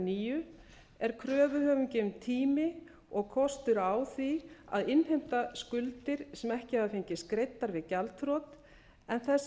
nýju er kröfuhöfum gefinn tími og kostur á því að innheimta skuldir sem ekki hafa fengist greiddar við gjaldþrot en þess